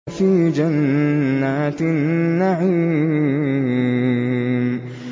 فِي جَنَّاتِ النَّعِيمِ